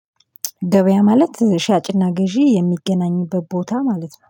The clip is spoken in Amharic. ገበያ ማለት ሻጭና ገዢ የሚገናኙበት ቦታ ማለት ነው